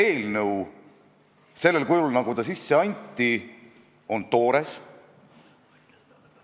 Kas Keeleinspektsioon ei võiks natuke ümber orienteeruda ja kuidagi represseerida mitte ainult õnnetuid riigikeelt mittevaldavaid inimesi, vaid ka tõelisi eesti keele solkijaid?